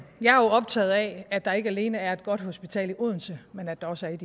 jeg er jo optaget af at der ikke alene er et godt hospital i odense men at der også er et